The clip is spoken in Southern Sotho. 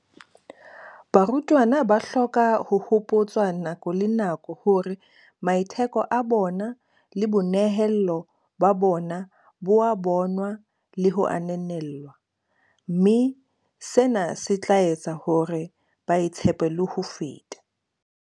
"Barutwana ba hloka ho hopotswa nako le nako hore maitheko a bona le boinehelo ba bona bo a bonwa le ho ananellwa, mme sena se tla etsa hore ba itshepe le ho feta."